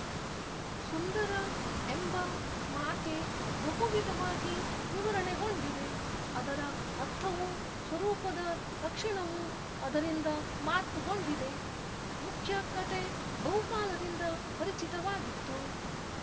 ಸುಂದರ ಎಂಬ ಮಾತೇ ಬಹುವಿಧವಾಗಿ ವಿವರಣೆಗೊಂಡಿದೆ ಅದರ ಅರ್ಥವೂ ಸ್ವರೂಪದ ಲಕ್ಷಣವೂ ಅದರಿಂದ ಮಾರ್ಪುಗೊಂಡಿದೆ ಮುಖ್ಯ ಕತೆ ಬಹುಕಾಲದಿಂದ ಪರಿಚಿತವಾಗಿತ್ತು